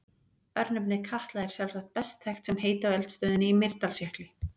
Örnefnið Katla er sjálfsagt best þekkt sem heiti á eldstöðinni í Mýrdalsjökli.